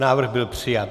Návrh byl přijat.